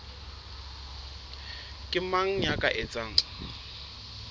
ke mang ya ka etsang